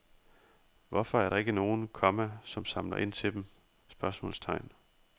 Hvorfor er der ikke nogen, komma som samler ind til dem? spørgsmålstegn